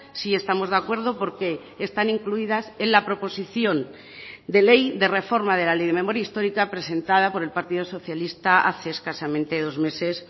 sí estamos de acuerdo porque están incluidas en la proposición de ley de reforma de la ley de memoria histórica presentada por el partido socialista hace escasamente dos meses